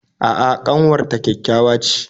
A'a ƙanwar ta ƙyaƙyawa ce